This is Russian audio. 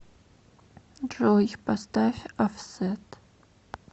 джой поставь офсет